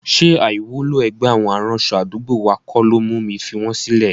Ṣé àìwúlò ẹgbẹ́ àwọn aránṣọ àdúgbò wa kọ́ ló mú mi fi wọn sílẹ̀?